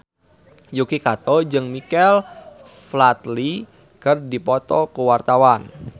Yuki Kato jeung Michael Flatley keur dipoto ku wartawan